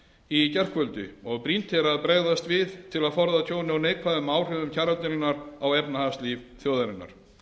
í gærkvöldi og brýnt er að bregðast við til að forða tjóni og neikvæðum áhrifum kjaradeilunnar á efnahagslíf þjóðarinnar